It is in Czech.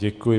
Děkuji.